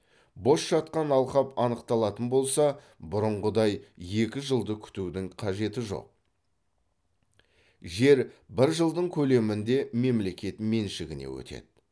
бос жатқан алқап анықталатын болса бұрынғыдай екі жылды күтудің қажеті жоқ жер бір жылдың көлемінде мемлекет меншігіне өтеді